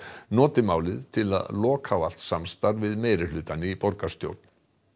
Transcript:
nota málið til að loka á allt samstarf við meirihlutann í borgarstjórn